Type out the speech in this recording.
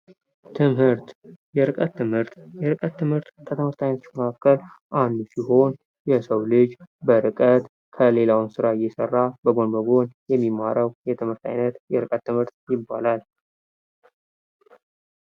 ትምህርት ፦ የርቀት ትምህርት ፦ የርቀት ትምህርት ከትምህርት አይነቶች መካከል አንዱ ሲሆን የሰው ልጅ በርቀት ከሌላውን ስራ እየሰራ በጎን በጎን የሚማረው የትምህርት አይነት የርቀት ትምህርት ይባላል ።